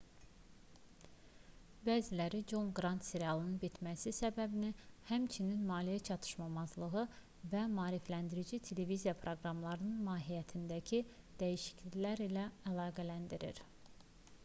bəziləri con qrant serialının bitməsi səbəbini həmçinin maliyyə çatışmazlığı və maarifləndirici televiziya proqramlarının mahiyyətindəki dəyişikliklər ilə əlaqələndirir